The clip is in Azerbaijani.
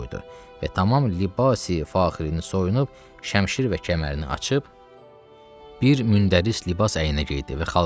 Və tamam libas-i faxirini soyunub, şəmişir və kəmərini açıb, bir mündəris libas əynə geydi.